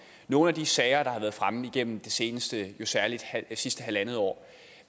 nogle af de sager der har været fremme gennem det seneste halvandet år